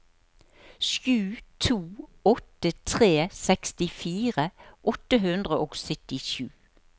sju to åtte tre sekstifire åtte hundre og syttisju